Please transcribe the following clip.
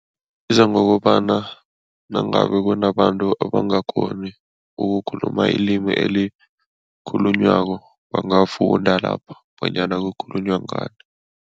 Isiza ngokobana nangabe kunabantu abangakghoni ukukhuluma ilimi elikhulunywako, bangafunda lapha bonyana kukhulunywa ngani.